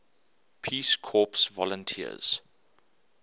peace corps volunteers